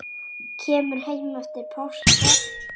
Kemur heim eftir páska.